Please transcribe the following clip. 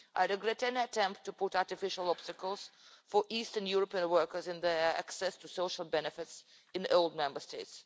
I regret any attempt to put artificial obstacles for Eastern European workers in their access to social benefits in the old Member States.